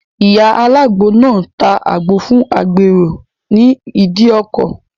Ìyá alágbo náà ta àgbo fún agbèrò ní ìdíkọ̀.